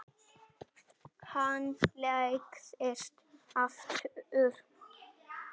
Hann lagðist aftur niður.